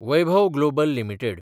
Vaibhav global limited